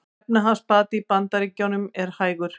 Efnahagsbati í Bandaríkjunum hægur